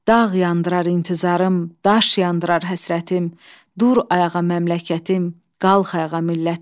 Dağ yandırar intizarım, daş yandırar həsrətim, dur ayağa məmləkətim, qalx ayağa millətim.